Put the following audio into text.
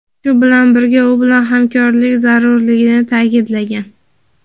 shu bilan birga u bilan hamkorlik zarurligini ta’kidlagan.